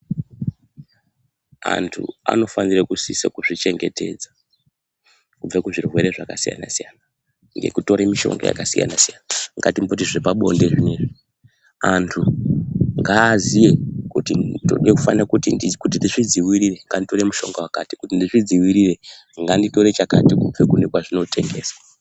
Antu anofanire kusisa kuzvichengetedza kubva kuzvirwere zvakasiyana -siyana ngekutora mishonga yakasiyana-siyana. Ngatimboti zvepabonde zvinezvi, antu ngaaziye kuti ndizvidzivirire nganditore mushonga wakati, kuti ndizvidzivirire nganditore chakati kubva kune kwazvinotengeswa.